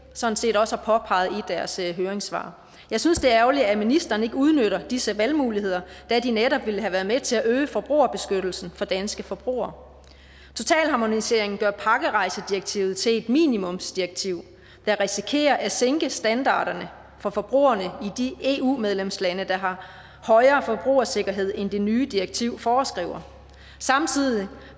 sådan set også har påpeget i deres høringssvar jeg synes det er ærgerligt at ministeren ikke udnytter disse valgmuligheder da de netop ville have været med til at øge forbrugerbeskyttelsen for danske forbrugere totalharmoniseringen gør pakkerejsedirektivet til et minimumsdirektiv der risikerer at sænke standarderne for forbrugerne i de eu medlemslande der har højere forbrugersikkerhed end det nye direktiv foreskriver samtidig